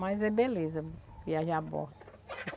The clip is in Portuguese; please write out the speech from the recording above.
Mas é beleza viajar a bordo.